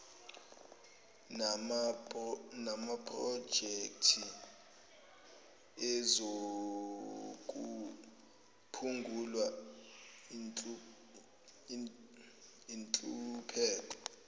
namaprojekthi ezokuphungula inhlupheko